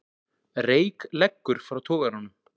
Reyk leggur frá togaranum